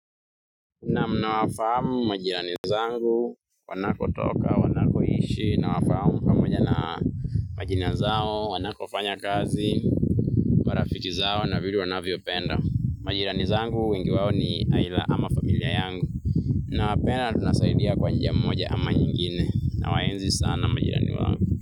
Na mnawafamu majirani zangu wanakotoka wanakoishi na wafamu pamoja na majina zao wanakofanya kazi marafiki zao na vile wanavyo penda. Majirani zangu wengi wao ni aidha ama familia yangu. Na wapenda tunasaidiana kwa njia moja ama nyingine nawaenzi sana majirani wangu.